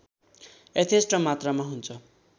यथेष्ट मात्रामा हुन्छ